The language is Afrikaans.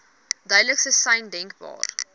duidelikste sein denkbaar